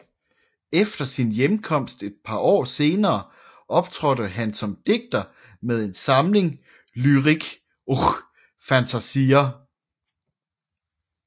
Efter sin hjemkomst et par år senere optrådte han som digter med en samling Lyrik och fantasier